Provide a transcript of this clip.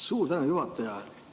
Suur tänu, juhataja!